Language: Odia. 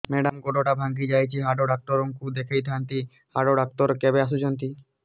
ମେଡ଼ାମ ଗୋଡ ଟା ଭାଙ୍ଗି ଯାଇଛି ହାଡ ଡକ୍ଟର ଙ୍କୁ ଦେଖାଇ ଥାଆନ୍ତି ହାଡ ଡକ୍ଟର କେବେ ଆସୁଛନ୍ତି